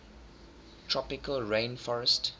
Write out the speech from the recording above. tropical rain forestt